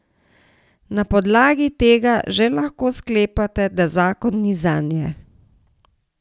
Na podlagi tega že lahko sklepate, da zakon ni zanje.